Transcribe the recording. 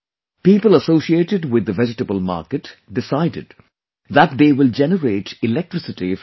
People associated with the vegetable market decided that they will generate electricity from this